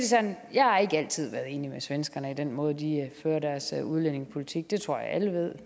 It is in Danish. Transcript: sådan at jeg ikke altid har været enig med svenskerne i den måde de fører deres udlændingepolitik på det tror jeg alle ved